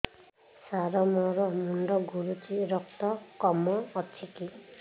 ସାର ମୋର ମୁଣ୍ଡ ଘୁରୁଛି ରକ୍ତ କମ ଅଛି କି